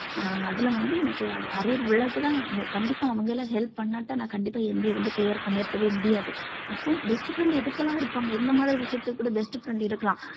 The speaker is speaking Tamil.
அஹ் அதில வந்து எனக்கு arrear கண்டிப்பா அவங்க எல்லாம் help பண்ணாட்டா நான் கண்டிப்பா MBA வந்து clear பண்ணி இருக்கவே முடியாது அப்போ best friend எதுக்கு எல்லாம் இருப்பாங்க இந்த மாதிரி விஷயத்துக்கு கூட best friend இருக்கலாம்